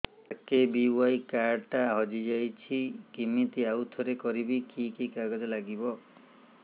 RKBY card ଟା ହଜିଯାଇଛି କିମିତି ଆଉଥରେ କରିବି କି କି କାଗଜ ଲାଗିବ